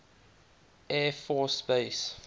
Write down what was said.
air force base